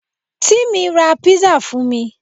Tìmí ra písà fún mi